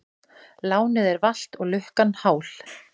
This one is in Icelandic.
Lánið er valt og lukkan hál.